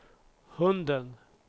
hunden